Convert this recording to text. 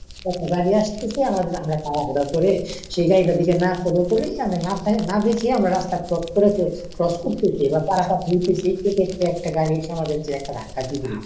একটা গাড়ী আসতেছে আমরা তাড়াহুড়া করে সেই গাড়ীটার দিকে না follow করি আমরা না দেখিয়া আমারা রাস্তা cross করে ফেলছি। cross করতেছি বা পারাপার হয়তেছি সে ক্ষেত্রে একটা গাড়ী এসে আমাদেরকে ধাক্কা দিয়ে দিল।